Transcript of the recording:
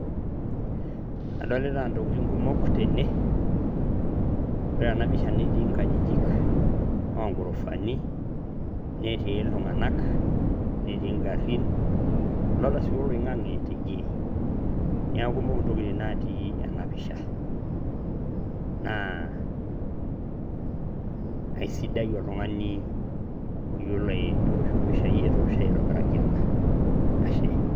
Adolita ntokitin kumok tene, ore ena pisha netii nkajijik oo gorofani netii iltung`anak , netii ng`arin. Adolita sii oloing`ang`e teidie, niaku kumok ntokitin natii ena pisha. Naa aisidai oltung`ani oyiolo atoosho mpishai etoosho aitobiraki ena. Ashe.